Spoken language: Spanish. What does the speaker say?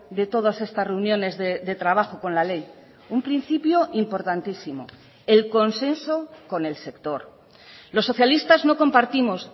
de todas estas reuniones de trabajo con la ley un principio importantísimo el consenso con el sector los socialistas no compartimos